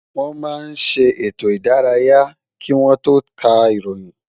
Wọ́n máa ń ṣe ètò ìdárayá kí wọ́n tó ká ìròyìn